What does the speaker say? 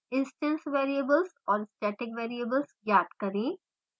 instance variables और static variables ज्ञात करें